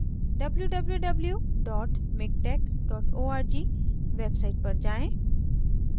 www miktex org website पर जाएँ